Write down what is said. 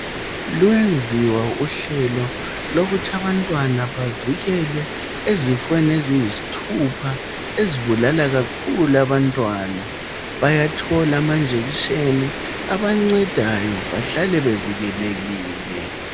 Luyenziwa uhlelo lokuthi abantwana bavikelwe ezifweni eziyisithupha ezibulala kakhulu abantwana bayathola ama injection abancedayo bahlale bevikelekile.